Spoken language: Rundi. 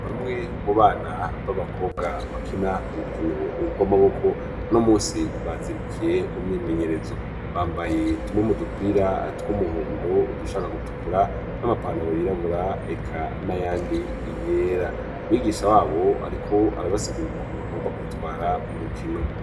Bamwe mu bana b'abakobwa bakina urukino ubw' amaboko no musi bazindukiye mu myimenyerezo bambaye tumwe mu dupira tw'umuhondo udushaka gutukura n'amapanaro yirabura eka na yandi iyera mwigisha wabo, ariko arabasigura urukono bagomba kwitwara mu rukino.